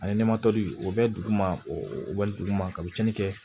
Ani o bɛ dugu ma o dugu ma ka biyɛn kɛ